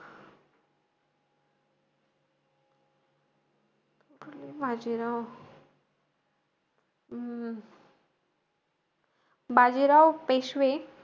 बाजीराव अं बाजीराव पेशवे,